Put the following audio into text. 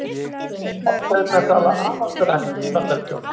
Fasteignasala afar dræm í Bandaríkjunum